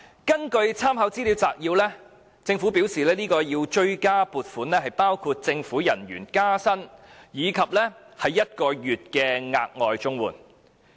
根據立法會參考資料摘要，政府表示追加撥款主要用以應付政府人員加薪，以及綜援的1個月額外援助金。